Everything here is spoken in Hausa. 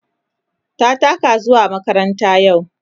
Ta taka zuwa makaranta yau.